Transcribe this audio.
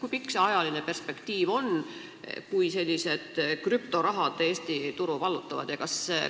Kui pikk see ajaline perspektiiv on, kui sellised krüptorahad Eesti turu vallutavad?